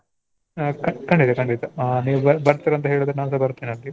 ಹ ಖ~ ಖಂಡಿತ ಖಂಡಿತ ಆ ನೀವ್ ಬ~ ಬರ್ತೀರ ಅಂತ್ ಹೇಳಿದ್ರೆ ನಾನ್ ಸ ಬರ್ತೀನಿ ಅಲ್ಲಿ.